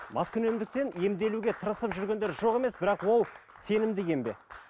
маскүнемдіктен емделуге тырысып жүргендер жоқ емес бірақ ол сенімді ем бе